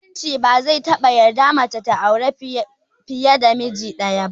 Musulunci ba zai taɓa yarda mace ta auri fiye da miji ɗaya ba